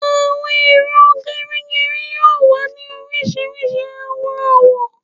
Awọn ero gerigeri yoo wa ni orisirisi awọn awọ